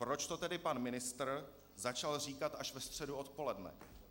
Proč to tedy pan ministr začal říkat až ve středu odpoledne?